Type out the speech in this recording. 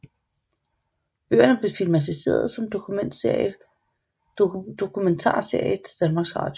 Bøgerne blev filmatiseret som dokumentarserie til Danmarks Radio